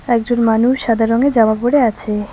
একজন মানুষ সাদা রঙের জামা পরে আছে।